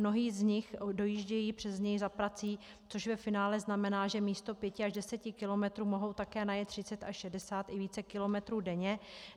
Mnozí z nich dojíždějí přes něj za prací, což ve finále znamená, že místo pěti až deseti kilometrů mohou také najet třicet až šedesát i více kilometrů denně.